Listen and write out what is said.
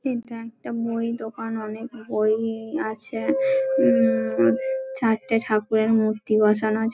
ইটা একটা বই এর দোকান । অনেক বই আছে । উম চারটে ঠাকুরের মূর্তি বসানো আছে |